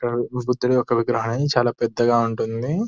గుర్తుగా ఒక విగ్రహాన్ని చాలా పెద్దగా ఉంటుంది.